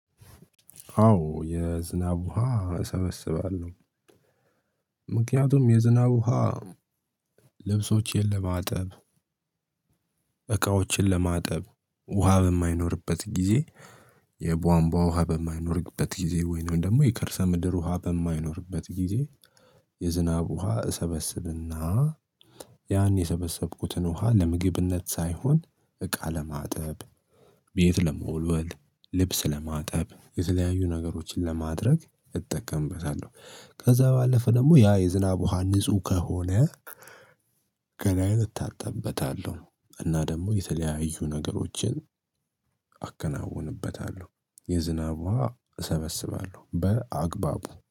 አዎ የዝናብ ውሃ እሰበስባለሁ። ምክንያቱም የዝናብ ውሃ ልብሶችን ለማጠብ እቃዎችን ለማጠብ ውሃ በማይኖርበት ጊዜ። የቧንቧ ውሃ በማይኖርበት ጊዜ ወይንም ደግሞ የከርሰ ምድር ውሃ በማይኖርበት ጊዜ። የዝናብ ውሃ እሰበስብና ያን የሰበሰብኩትን ውሃ ለምግብነት ሳይሆን እቃ ለማጠብ ቤት ለመወልወል ልብስ ለማጠብ የተለያዩ ነገሮችን ለማድረግ እጠቀምበታለሁ። ከዛ ባለፈ ደግሞ ያ የዝናብ ውሃ ንጹህ ከሆነ። ገላዬን እታጠብበታለሁ እና ደግሞ የተለያዩ ነገሮችን አከናውንበታለሁ። የዝናብ ውሃ እሰበስባለሁ በአግባቡ